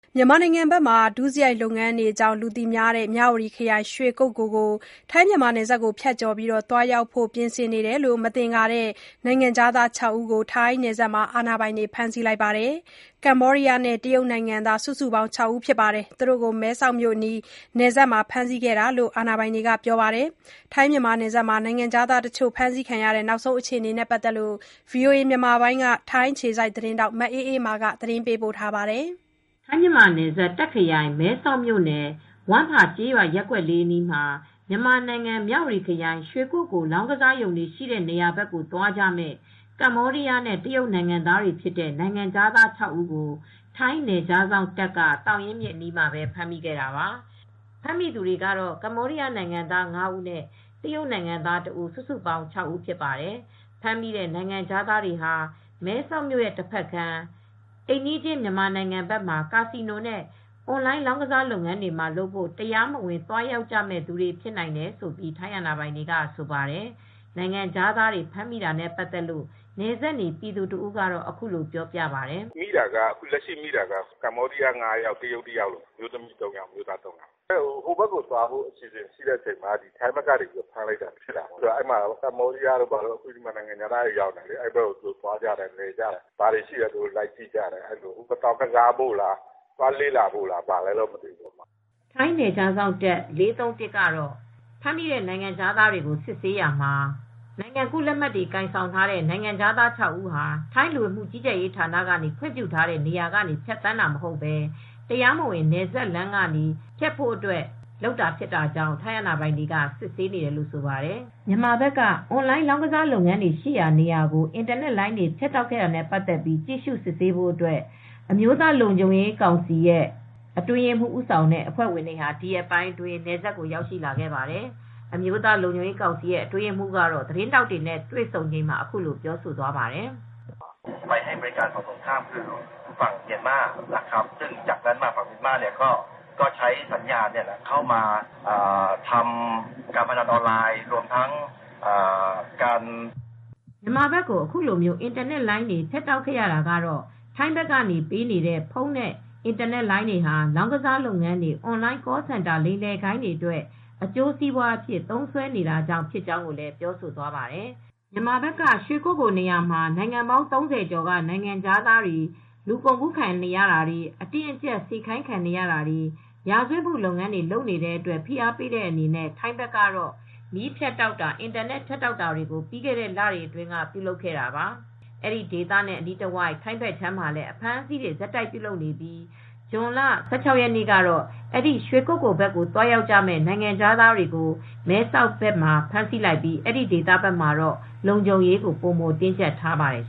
မြန်မာနိုင်ငံမှာ ဒုစရိုက်လုပ်ငန်းတွေကြောင့် လူသိများတဲ့ မြဝတီခရိုင် ရွှေကုက္ကိုလ် ကို နယ်စပ်ဖြတ်ကျော် သွားရောက်ဖို့ ပြင်ဆင်နေတယ်လို့ မသင်္ကာတဲ့ နိုင်ငံခြားသား ၆ ဦး ကို ထိုင်းနယ်စပ်မှာ အာဏာပိုင်တွေက ဖမ်းဆီးလိုက်ပါတယ်။ ကမ္ဘောဒီးယားနဲ့ တရုတ်နိုင်ငံသား စုစုပေါင်း ၆ ဦးကို မဲဆောက်မြို့အနီး နယ်စပ်မှာ ဖမ်းဆီးခဲ့တာလို့လည်း အာဏာပိုင်တွေက ပြောပါတယ်။ ထိုင်းမြန်မာနယ်စပ်မှာ နိုင်ငံခြားသားတချို့ ဖမ်းဆီးခံရတဲ့ နောက်ဆုံးအခြေအနေနဲ့ ပတ်သက်လို့ ဗွီအိုအေ မြန်မာပိုင်း ထိုင်းအခြေစိုက် သတင်းထောက် မအေးအေးမာ သတင်းပေးပို့ ထားပါတယ်။ ထိုင်းမြန်မာနယ်စပ်တာ့ခရိုင် မဲဆောက်မြို့နယ် ဝမ်ဖာကျေးရွာရပ်ကွက် ၄အနီးမှာ မြန်မာနိုင်ငံမြ၀တီခရိုင် ရွှေကုက္ကိုလ် လောင်းကစားရုံတွေရှိတဲ့နေရာဘက်ကိုသွားကြမယ့် ကမ္ဘောဒီးယားနဲ့ တရုတ်နိုင်ငံသားတွေဖြစ်တဲ့ နိုင်ငံခြားသား ၆ဦးကို ထိုင်းနယ်ခြားစောင့်တပ်က သောင်ရင်းမြစ်အနီးမှာပဲဖမ်းမိခဲ့တာပါ ။ ဖမ်းမိတဲ့သူတွေကတော့ ကမ္ဘောဒီးယားနိုင်ငံသား ၅ ဦးနဲ့ တရုတ်နိုင်ငံသား ၁ ဦး စုစုပေါင်း ၆ ဦးဖြစ်ပါတယ်။ ဖမ်းမိတဲ့ နိုင်ငံခြားသားတွေဟာ မဲဆောက်ဘက်တဖက်ကမ်း အိမ်နီးချင်း မြန်မာနိုင်ငံဘက်မှာ ကာစီနို နဲ့အွန်လိုင်း လောင်းကစားလုပ်ငန်းတွေလုပ်ဖို့ တရားမဝင် သွားရောက်မယ့်သူတွေဖြစ်နိုင်တယ်လို့ ထိုင်းအာဏာပိုင်တွေကဆိုပါတယ် ။ နိုင်ငံခြားသားတွေ ဖမ်းမိတာနဲ့ပတ်သက်လို့ နယ်စပ်နေပြည်သူတဦးကအခုလိုပြောပြပါတယ်။ အခုဖမ်းမိတာက ကမ္ဘောဒီးယား ၅ယောက် တရုတ်၁ယောက် အမျိုးသား ၃ယောက် အမျိုးသမီး ၃ယောက် ဟိုဘက်(မြ၀တီရွှေကုက္ကိုလ်ဘက်)ကို သွားဖို့အစီစဉ်ရှိတဲ့အချိန်မှာထိုင်းဘက်ကနေ ဖမ်းလိုက်တာပါ။ ကမ္ဘောဒီယားတို့ နိုင်ငံခြားသားတွေက ကာစီနိုကစားဖို့လား အလည်သွားဖို့လားမသိဘူးလေ့လာဖို့လားမသိဘူး။ ထိုင်းနယ်ခြားစောင့်တပ် ၄၃၁ကတော့ ဖမ်းမိတဲ့ နိုင်ငံခြားသားတွေကို စစ်ဆေးရာမှာ နိုင်ငံကူးလက်မှတ် တွေကိုင်ဆောင်ထားတဲ့ နိုင်ငံခြားသား ၆ဦးဟာ ထိုင်းလူဝင်မှုကြီးကြပ်ရေးဌာနကနေ ခွင့်ပြုထားတဲ့ နေရာကနေဖြတ်သန်းတာမဟုတ်ပဲ တရားမဝင်နယ်စပ်လမ်းကနေ ဖြတ်တဲ့အတွက် ထိုင်းအာဏာပိုင်တွေကစစ်ဆေးနေတယ်လို့ဆိုပါတယ်။ မြန်မာဘက်က အွန်လိုင်းလောင်းကစားလုပ်ငန်းတွေရှိရာနေရာကို အင်တာနက်လိုင်းတွေဖြတ်တောက်ခဲ့တာနဲ့ပတ်သက်ပြီး ကြည့်ရူ့စစ်ဆေးဖို့ အမျိုးသားလုံခြုံရေးကောင်စီရဲ့အတွင်းရေးမူး Pol General Roy Inkhapairote ဦးဆောင်တဲ့ လုံခြုံရေးကောင်စီ အဖွဲ့ ၀င် တွေဒီရက်ပိုင်းမှာပဲ နယ်စပ်ကိုရောက်ရှိလာခဲ့ပါတယ်။ အမျိုးသားလုံခြုံရေးကောင်စီရဲ့အတွင်းရေးမှူးကတော့ သတင်းထောက်တွေနဲ့တွေ့ဆုံချိန်မှာအခုလိုပြောသွားပါတယ်။ မြန်မာဘက်ကို အခုလို အင်တာနက်လိုင်းတွေ ဖြတ်တောက်ခဲ့ရတာကတော့ ထိုင်းဘက်ကနေပေးနေတဲ့ဖုန်းနဲ့ အင်တာနက်လိုင်းတွေဟာ လောင်းကစားလုပ်ငန်းတွေ အွန်လိုင်း Call Center လိမ်လည်ဂိုဏ်းတွေအတွက် အကျိုးစီးပွားအဖြစ် သုံးစွဲနေတာဖြစ်ကြောင်းကိုလည်းပြောဆိုသွားပါတယ်။ မြန်မာဘက်က ရွှေကုက္ကိုလ်နေရာမှာ နိုင်ငံပေါင်း ၃၀ကျော်က နိုင်ငံခြားသားတွေ လူကုန်ကူးခံရတာတွေအတင်းအကြပ်စေခိုင်းခံနေရတာတွေ ရာဇဝတ်မူ့လုပ်ငန်းတွေလုပ်နေတဲ့အတွက် ဖိအားပေးတဲ့အနေနဲ့ ထိုင်းဘက်ကတော့ မီးဖြတ်တောက်တာ အင်တာနက်ဖြတ်တောက်တာတွေကို ပြီးခဲတဲ့ လတွေအတွင်းကပြုလုပ်လာခဲ့တာပါ ။ အဲဒီဒေသနဲ့အနီးတဝိုက် ထိုင်းဘက်ခြမ်းမှာလည်းအဖမ်းအဆီးတွေဆက်တိုက်ပြုလုပ်နေပြီး ဇွန်လ ၁၆ ရက်နေ့ကတော့ ရွှေကုက္ကိုလ်ဘက်ကိုသွားရောက်ကြမယ့် နိုင်ငံခြားသားတွေကို မဲဆောက်ဘက်မှာဖမ်းဆီးလိုက်ပြီး အဲဒီဘက်မှာတော့ လုံခြုံရေးကိုတင်းကြပ်ထားပါတယ်